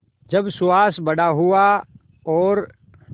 जब सुहास बड़ा हुआ और